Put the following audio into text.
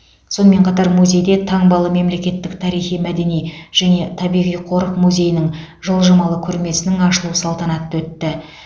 сонымен қатар музейде таңбалы мемлекеттік тарихи мәдени және табиғи қорық музейінің жылжымалы көрмесінің ашылуы салтанаты өтті